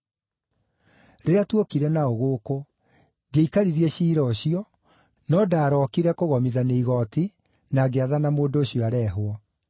Rĩrĩa tuokire nao gũkũ, ndiaikaririe ciira ũcio, no ndaarookire kũgomithania igooti na ngĩathana mũndũ ũcio areehwo.